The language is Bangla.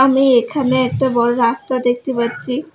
আমি এখানে একটা বড়ো রাস্তা দেখতে পাচ্ছি।